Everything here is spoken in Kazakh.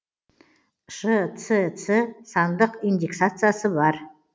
шцц сандық индикациясы бар